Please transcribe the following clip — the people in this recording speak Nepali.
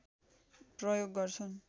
प्रयोग गर्छन्